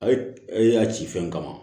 A ye e y'a ci fɛn kama